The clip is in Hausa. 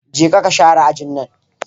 Je ka ka share ajin nan!